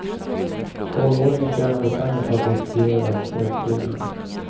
Tolvåringen tjänade pengar på att distribuera skräckfilmerna.